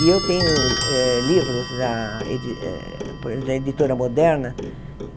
E eu tenho eh livros da edi por da Editora Moderna.